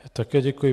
Také děkuji.